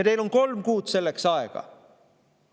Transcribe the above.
Teil on selleks kolm kuud aega.